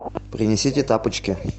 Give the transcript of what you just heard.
принесите тапочки